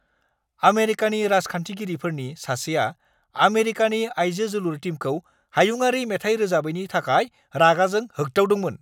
आमेरिकानि राजखान्थिगिरिफोरनि सासेया आमेरिकानि आइजो जोलुर टीमखौ हायुंआरि मेथाइ रोजाबैनि थाखाय रागाजों होग्दावदोंमोन।